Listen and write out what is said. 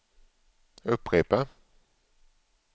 upprepa